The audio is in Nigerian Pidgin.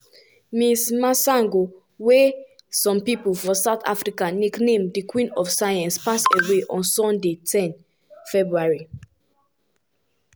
ms masango wey some pipo for south africa nickname "di queen of science" pass away on sunday ten february.